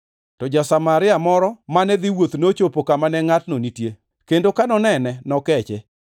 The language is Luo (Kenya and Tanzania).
To ja-Samaria moro mane dhi wuoth nochopo kama ne ngʼatno nitie, kendo ka nonene, nokeche.